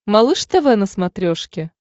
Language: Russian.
малыш тв на смотрешке